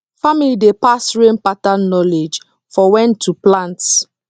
family dey pass rain pattern knowledge for when to plants